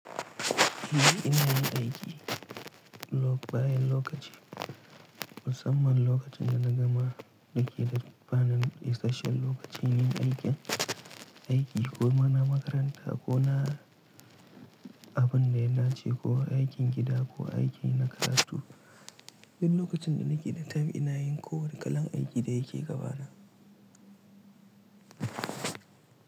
Ni ina yin aiki lok-- bayan lokaci, musamman lokacin da na gama ɗaki da kafa nan, isasshen lokacin yin aikin, aiki ko ma na makaranta ko na abin da yana ci ko aikin gida ko aiki na karatu. Duk lokacin da nake da time ina yin kowane kalan aiki da yake gabana.